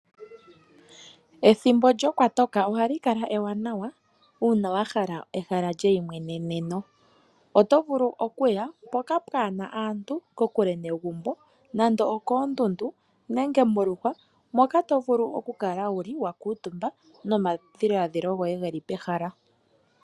Ethimbo lyokwatoka ohali kala ewanawa uuna ehala lyeyimweneneno. Oto vulu okuya mpoka pwaana aantu kokule negumbo nando okoondundu nenge moluhwa moka tovulu okukala wuli wakuutumba nomadhiladhilo goye geli pehala.